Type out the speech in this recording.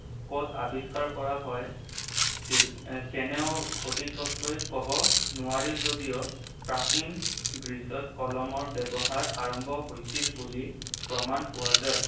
ক'ত আৱিষ্কাৰ কৰা হয়, কেনেও সঠিককৈ কব নোৱাৰে যদিও প্ৰাচীন গ্ৰীচত কলমৰ ব্যৱহাৰ আৰম্ভ হৈছিল বুলি প্ৰমাণ পোৱা যায়।